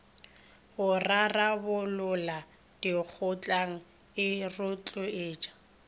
go rarabolola dikgotlang e rotloetsa